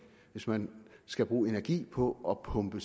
hvis man skal bruge energi på at pumpe